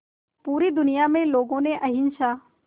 पूरी दुनिया में लोगों ने अहिंसा